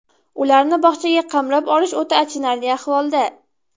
Ularni bog‘chaga qamrab olish o‘ta achinarli ahvolda.